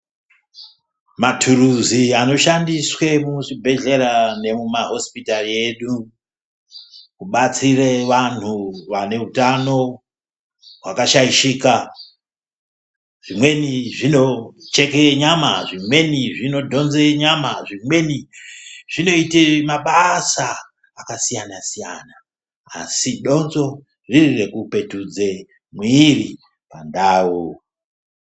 Maturuzi anoshandiswe muzvibhedhlera nemumahosipitari edu kubatsire vanhu vanehutano hwakashaishika. Zvimweni zvinocheke nyama, zvimweni zvinodhonze nyama zvimweni zvinoite mabasa akasiyana-siyana. Asi donzvo riri rekupetudze mwiiri pandau.